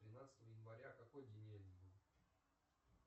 тринадцатого января какой день недели будет